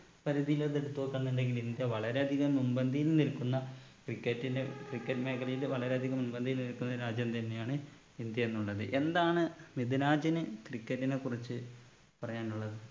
പരിധിയിലത് എട്ത്ത് നോക്ക എന്നുണ്ടെങ്കില് ഇന്ത്യ വളരെ അധികം മുൻപന്തിയിൽ നിൽക്കുന്ന cricket ന് cricket മേഖലയിൽ വളരെയധികം മുൻപന്തിയിൽ നിൽക്കുന്ന രാജ്യം തന്നെയാണ് ഇന്ത്യ എന്നുള്ളത് എന്താണ് മിദ്‌ലാജിന് cricket നെ കുറിച്ച് പറയാനുള്ളത്